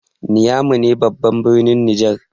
Niamey ne babban birnin Nijar.